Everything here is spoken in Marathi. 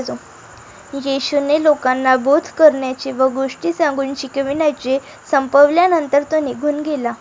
येशूने लोकांना बोध करण्याचे व गोष्टी सांगून शिकविण्याचे संपवल्यानंतर तो निघून गेला.